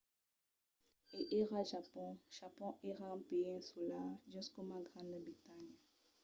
e ara japon. japon èra un país insular just coma granda bretanha